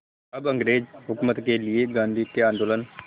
अब अंग्रेज़ हुकूमत के लिए गांधी के आंदोलन